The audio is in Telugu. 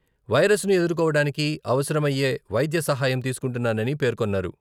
వైరస్‌ను ఎదుర్కొవడానికి అవసరమయ్యే వైద్య సహాయం తీసుకుంటున్నానని పేర్కొన్నారు.